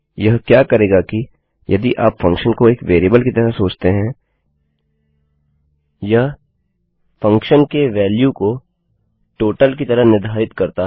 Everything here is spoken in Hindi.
यह क्या करेगा कि यदि आप फंक्शन को एक वेरिएबल की तरह सोचते हैं यह फंक्शन के वेल्यू को टोटल की तरह निर्धारित करता है